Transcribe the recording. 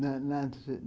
Na na na